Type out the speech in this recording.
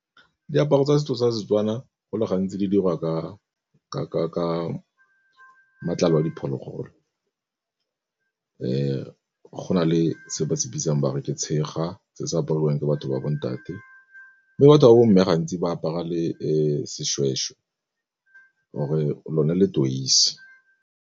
Diaparo tsa setso tsa Setswana go le gantsi di dirwa ka matlalo a diphologolo. Go na le se re se bitsang ba re ke tshega se se apariwang ke batho ba bo ntate, mme batho ba bo mme gantsi ba apara le seshweshwe or-e lone le .